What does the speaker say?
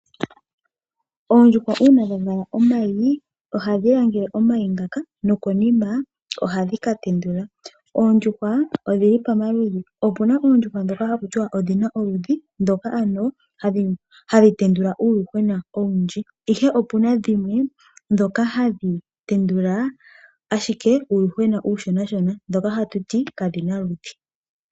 Oondjuhwa uuna dha langele omayi ohadhi langele omayi ngaka nokonima ohadhi ka tendula. Oondjuhwa odhili pamaludhi, opuna oondjuhwa dhoka haku ti wa odhina oludhi dhoka ano hadhi tendula uuyuhwena owundji, ihe opuna dhimwe dhoka hadhi tendula ashika uuyuhwena uushonashona dhoka hatu ti kadhina oludhi.